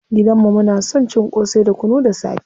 Gidan mu muna son cin ƙosai da kunu da safe.